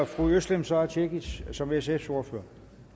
fru özlem sara cekic som sfs ordfører